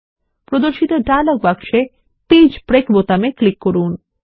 প্রদর্শিত ডায়লগ বক্সে page break বোতামে ক্লিক করুন